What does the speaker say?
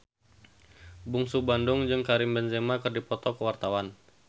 Bungsu Bandung jeung Karim Benzema keur dipoto ku wartawan